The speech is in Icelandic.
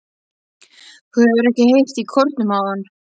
Þú hefur ekki heyrt í kórnum áðan?